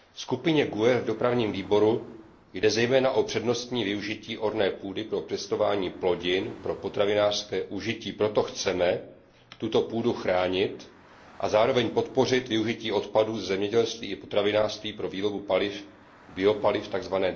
Skupině GUE v Dopravním výboru jde zejména o přednostní využití orné půdy pro pěstování plodin pro potravinářské užití, proto chceme tuto půdu chránit a zároveň podpořit využití odpadů ze zemědělství i potravinářství pro výrobu paliv, biopaliv tzv.